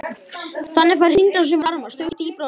Þannig fær hringrásin varma stöðugt dýpra úr kerfinu.